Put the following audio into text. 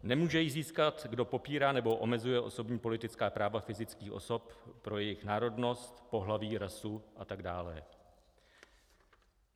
"Nemůže ji získat, kdo popírá nebo omezuje osobní, politická práva fyzických osob pro jejich národnost, pohlaví, rasu..." a tak dále.